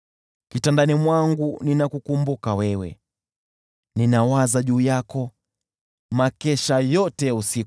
Kitandani mwangu ninakukumbuka wewe, ninawaza juu yako makesha yote ya usiku.